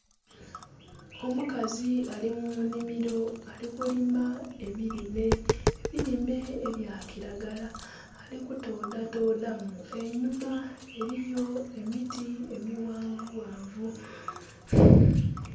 Omukazi ali mu nhimiro, ali kulima ebilime, ebilime ebya kiragala. Ali kutoodhatoodha mu. Enhuma eliyo emiti emighanvughanvu.